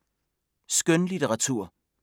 Skønlitteratur